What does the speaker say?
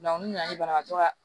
n'u nana ni banabagatɔ